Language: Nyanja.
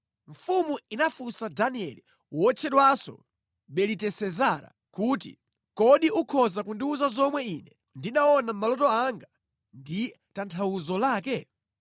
Mfumu inafunsa Danieli (wotchedwanso Belitesezara) kuti, “Kodi ukhoza kundiwuza zomwe ine ndinaona mʼmaloto anga ndi tanthauzo lake?”